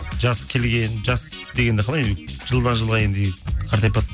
жас келген жас дегенді қалай жылдан жылға енді қартайып баратқан